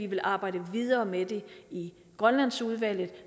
vil arbejde videre med det i grønlandsudvalget